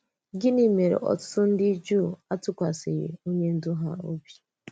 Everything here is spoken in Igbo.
Gịnị mèrè òtùtù ndị Juu àtụkwàsịghị onye ndú ha?